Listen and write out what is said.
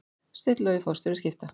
Steinn Logi forstjóri Skipta